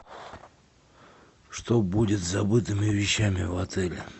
что будет с забытыми вещами в отеле